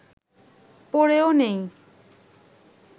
পড়েও নেই